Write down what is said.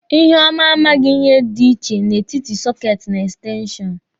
Iheọma a maghị ihe dị iche n'etiti sọketi na ekstenshọnụ.